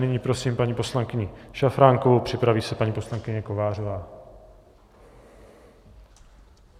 Nyní prosím paní poslankyni Šafránkovou, připraví se paní poslankyně Kovářová.